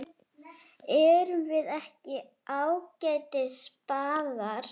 Erum við ekki ágætis spaðar?